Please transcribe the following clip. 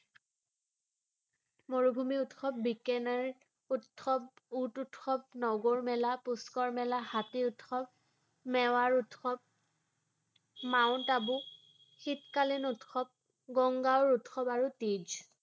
মৰুভূমি উৎসৱ, বিকানেৰ উৎসৱ, উট উৎসৱ, নগৰ মেলা, পুষ্কৰ মেলা, হাতী উৎসৱ, মেৱাৰ উৎসৱ, মাউন্ট আবু শীতকালীন উৎসৱ, গংগা উৎসৱ আৰু টিজ৷